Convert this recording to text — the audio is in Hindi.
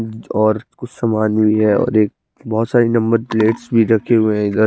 अम्म और कुछ समान यही है और एक बहोत सारी नंबर प्लेट्स भी रखी हुई है इधर--